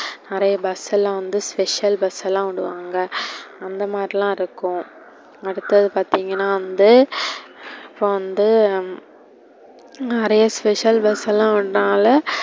நெறைய bus லாம் வந்து special bus லாம் விடுவாங்க, அந்த மாதிரிலா இருக்கும். அடுத்தது பார்த்திங்கனா வந்து இப்போ வந்து நெறைய special bus லாம் விடுனால,